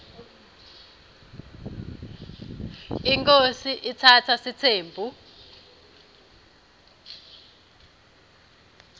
inkhosi iatsatsa sitsembu